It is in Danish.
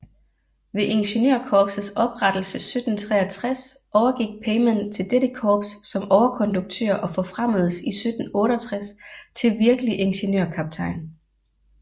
Ved Ingeniørkorpsets oprettelse 1763 overgik Peymann til dette korps som overkonduktør og forfremmedes i 1768 til virkelig ingeniørkaptajn